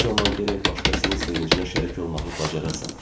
Bu zaman gərək başqasının sevincinə şərik olmağı bacarasan.